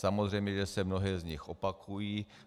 Samozřejmě že se mnohé z nich opakují.